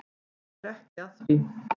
Hann er ekki að því.